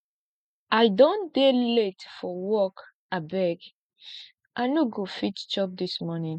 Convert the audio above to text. i don dey late for work abeg i no go fit chop dis morning